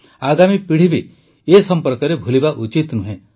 ଆଗାମୀ ପିଢ଼ି ବି ଏ ସମ୍ପର୍କରେ ଭୁଲିବା ଉଚିତ ନୁହେଁ